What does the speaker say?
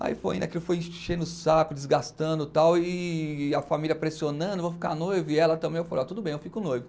Aí foi, ainda que foi enchendo o saco, desgastando e tal, e a família pressionando, vou ficar noivo, e ela também, eu falei, tudo bem, eu fico noivo.